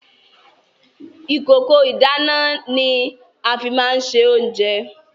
Ìkòkò ìdáná ni a fi máa ń ṣe oúnjẹ.